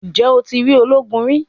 Ǹjẹ́ o ti rí ológun rí?